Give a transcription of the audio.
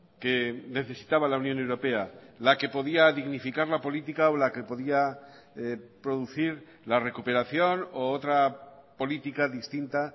que necesitaba la unión europea la que podía dignificar la política o la que podía producir la recuperación u otra política distinta